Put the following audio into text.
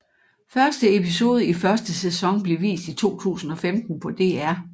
Første episode i første sæson blev vist i 2015 på DR